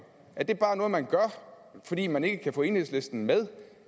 er det bare noget man gør fordi man ikke kan få enhedslisten med